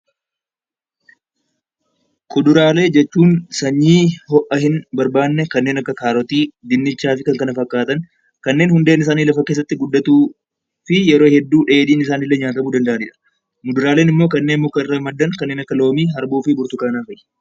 Kuduraalee jechuun sanyii ho'a hin barbaanne kanneen akka kaarotii fi kanneen hundeen isaanii lafa keessatti guddattuuf dheedhiin isaanii nyaatamaniidha. Muduraaleen immoo kanneen mukarraa maddan kanneen akka loomii fi kanneen kana fakkaataniidha.